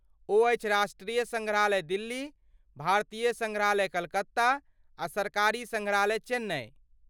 ओ अछि राष्ट्रीय सङ्ग्रहालय दिल्ली, भारतीय सङ्ग्रहालय कलकत्ता, आ सरकारी सङ्ग्रहालय चेन्नई।